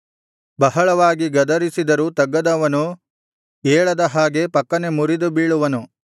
ಬಹಳವಾಗಿ ಗದರಿಸಿದರೂ ತಗ್ಗದವನು ಏಳದ ಹಾಗೆ ಫಕ್ಕನೆ ಮುರಿದು ಬೀಳುವನು